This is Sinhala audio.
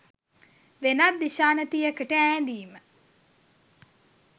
වෙනත් දිශානතියකට ඈඳීම